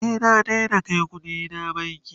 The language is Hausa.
ni na Daina Kai ƙuɗina banki